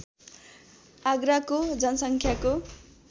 आगराको जनसङ्ख्याको